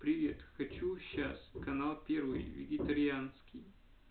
привет хочу сейчас канал первый вегетарианский